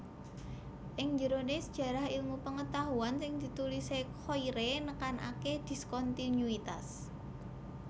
Ing jerone Sejarah Ilmu Pengetahuan sing ditulise Koyré nekanake diskontinuitas